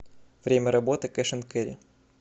время работы кэш энд кэрри